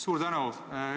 Suur tänu!